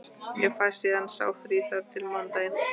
Ég fæ síðan sá frí þar til á mánudaginn.